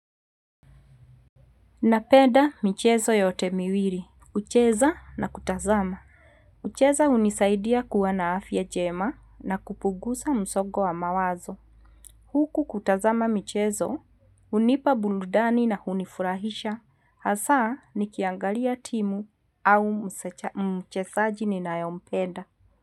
Napenda michezo yote mwili, kucheza na kutazama. Kucheza hunisaidia kuwa na afya njema na kupuguza msogo wa mawazo. Huku kutazama michezo, hunipa burudani na kunifurahisha. Hasa, nikiangalia timu au mchezaji ninayompeda.